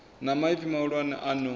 na maipfi mahulwane a no